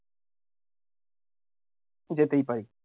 যেতেই পারি